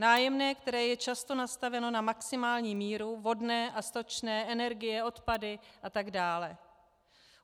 Nájemné, které je často nastaveno na maximální míru, vodné a stočné, energie, odpady a tak dále.